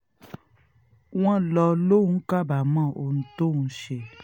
wọ́n lọ lóun kábàámọ̀ ohun tóun ṣe